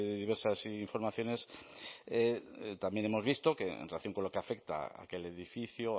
diversas informaciones también hemos visto que en relación con lo que afecta a aquel edificio